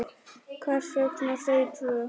Hvers vegna þau tvö?